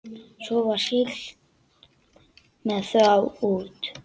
Svo var siglt með þá út.